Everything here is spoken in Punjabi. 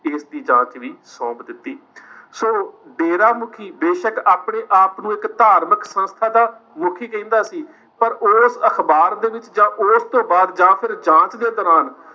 case ਦੀ ਜਾਂਚ ਸੌਂਪ ਦਿੱਤੀ। ਸੋ, ਡੇਰਾਮੁਖੀ ਬੇਸ਼ੱਕ ਆਪਣੇ ਆਪ ਨੂੰ ਇੱਕ ਧਾਰਮਿਕ ਸੰਸਥਾ ਦਾ ਮੁੱਖੀ ਕਹਿੰਦਾ ਸੀ, ਪਰ ਉਸ ਅਖਬਾਰ ਦੇ ਵਿੱਚ ਜਾਂ ਉਸ ਤੋਂ ਬਾਅਦ ਜਾਂ ਫਿਰ ਜਾਂਚ ਦੇ ਦੌਰਾਨ